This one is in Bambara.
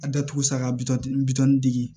A datugu sa ka bitɔn bitɔn dege